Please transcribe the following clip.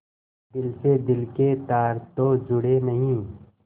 दिल से दिल के तार तो जुड़े नहीं